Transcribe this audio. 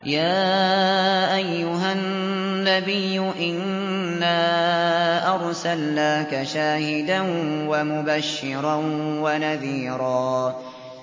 يَا أَيُّهَا النَّبِيُّ إِنَّا أَرْسَلْنَاكَ شَاهِدًا وَمُبَشِّرًا وَنَذِيرًا